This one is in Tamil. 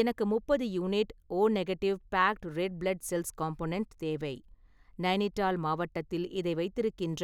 எனக்கு முப்பது unit O negative packed red blood cells component தேவை, நைனிடால் மாவட்டத்தில் இதை வைத்திருக்கின்ற